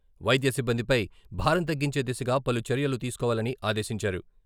వైద్య సిబ్బందిపై భారం తగ్గించే దిశగా పలు చర్యలు తీసుకోవాలని ఆదేశించారు..